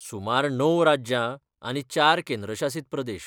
सुमार णव राज्यां आनी चार केंद्रशासीत प्रदेश.